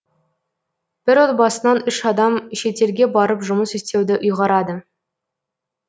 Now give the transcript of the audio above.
бір отбасынан үш адам шетелге барып жұмыс істеуді ұйғарады